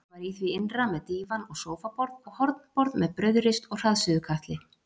Ég var í því innra með dívan og sófaborð og hornborð með brauðrist og hraðsuðukatli.